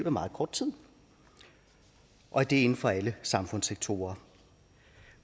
af meget kort tid og det er inden for alle samfundssektorer